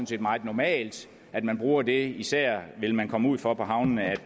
set meget normalt at man bruger det for især vil man komme ud for på havnene at